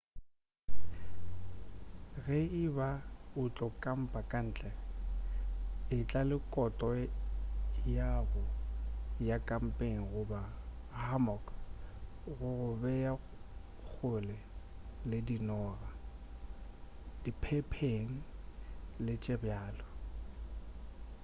ge e ba o tlo kampa ka ntle e tla le koto ya go ya kampeng goba hammock go go bea kgole le dinoga diphephen le tše bjalo